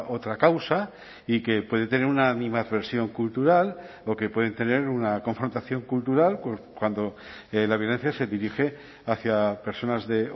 otra causa y que puede tener una animadversión cultural o que pueden tener una confrontación cultural cuando la violencia se dirige hacia personas de